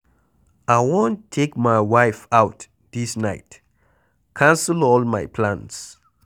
I wan take my wife out dis night, cancel all my plans.